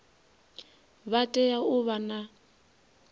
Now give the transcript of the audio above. vha tea u vha na